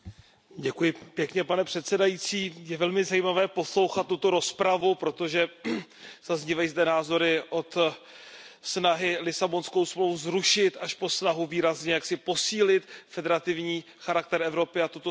Pane předsedající, je velmi zajímavé poslouchat tuto rozpravu, protože zaznívají zde názory, snahy Lisabonskou smlouvu zrušit až po snahu výrazně jaksi posílit federativní charakter Evropy a tuto smlouvu novelizovat.